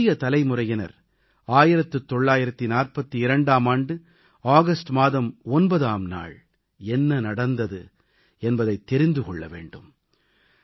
நமது புதிய தலைமுறையினர் 1942ஆம் ஆண்டு ஆகஸ்ட் மாதம் 9ஆம் நாள் என்ன நடந்தது என்பதைத் தெரிந்து கொள்ள வேண்டும்